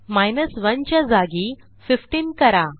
1 च्या जागी 15 करा